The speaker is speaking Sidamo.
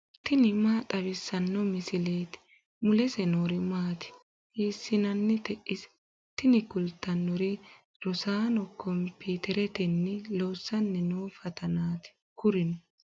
tini maa xawissanno misileeti ? mulese noori maati ? hiissinannite ise ? tini kultannori rosaano komiiteretenni loossanni noo fatanaati kurino